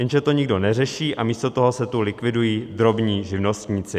Jenže to nikdo neřeší a místo toho se tu likvidují drobní živnostníci.